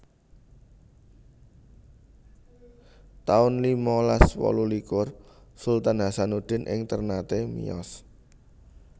taun limalas wolu likur Sultan Hasanuddin ing Ternate miyos